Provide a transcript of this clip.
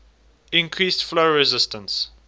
increase flow resistance